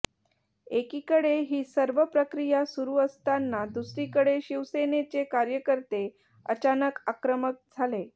एकीकडे ही सर्व प्रक्रिया सुरू असताना दुसरीकडे शिवसेनेचे कार्यकर्ते अचानक आक्रमक झाले